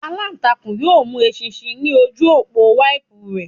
Alantakun yoo mu eṣinṣin ni oju opo wẹẹbu rẹ.